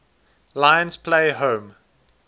lions play home